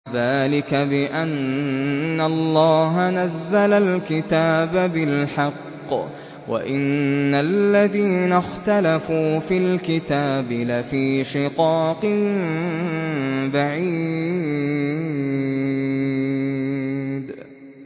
ذَٰلِكَ بِأَنَّ اللَّهَ نَزَّلَ الْكِتَابَ بِالْحَقِّ ۗ وَإِنَّ الَّذِينَ اخْتَلَفُوا فِي الْكِتَابِ لَفِي شِقَاقٍ بَعِيدٍ